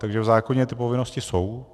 Takže v zákoně ty povinnosti jsou.